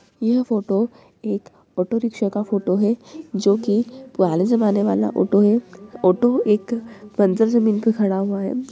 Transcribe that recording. यह फोटो एक auto rickshaw का फोटो है जोकि पुराने जमाने वाला ऑटो है। ऑटो एक बंजर जमीन पर खड़ा हुआ है।